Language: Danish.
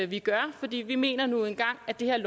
vi gør fordi vi mener nu en gang at det her